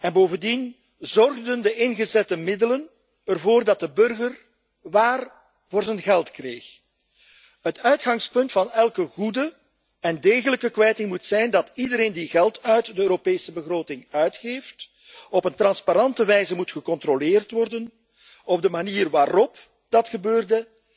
En bovendien, zorgden de ingezette middelen ervoor dat de burger waar voor zijn geld kreeg? Het uitgangspunt van elke goede en degelijke kwijting moet zijn dat iedereen die geld uit de Europese begroting uitgeeft, op een transparante wijze moet worden gecontroleerd ten aanzien van de manier waarop dat gebeurde